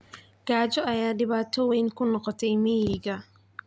Gaajo ayaa dhibaato weyn ku noqotay miyiga.